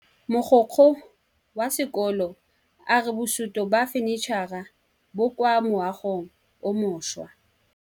Mogokgo wa sekolo a re bosutô ba fanitšhara bo kwa moagong o mošwa.